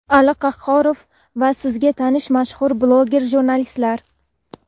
Ali Qahhorov va sizga tanish mashhur bloger jurnalistlar!.